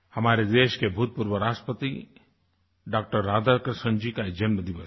हमारे देश के भूतपूर्व राष्ट्रपति डॉ राधाकृष्णन जी का जन्मदिवस है